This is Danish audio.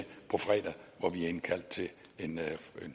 på fredag hvor vi har indkaldt til en